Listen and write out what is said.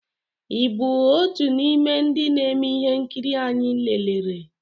ị bụ otu n'ime ndị na-eme ihe nkiri anyị lerere?